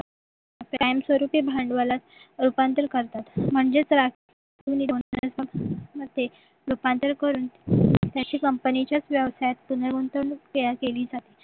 कायमस्वरूपी भांडवलात रूपांतर करतात म्हणजेच रास रूपांतर करून त्याची company च्या व्यवसायात पुनर्गुंतवणूक केली जाते